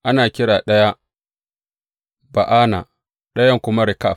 Ana kiran ɗaya Ba’ana, ɗayan kuma Rekab.